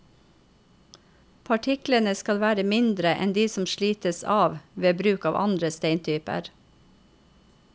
Partiklene skal være mindre enn de som slites av ved bruk av andre steintyper.